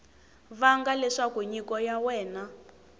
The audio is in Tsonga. vanga leswaku nyiko ya wena